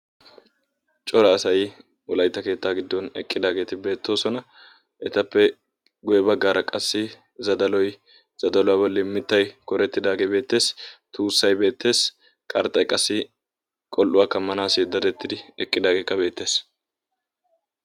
coraa asay wolaytta keetta giddon eqqidaageeti beettoosona. etappe guyye baggaara qassi zadaloy, zadaluwa bolli qassi mittay doorettidaagee beettees, tuussay beettees, qarxxay qol''uwaa kammanaw eqqidaagee beettees.